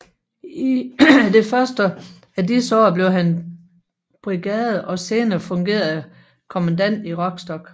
I det første af disse år blev han brigader og senere fungerende kommandant i Rostock